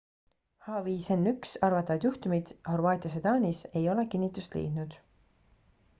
h5n1 arvatavad juhtumid horvaatias ja taanis ei ole kinnitust leidnud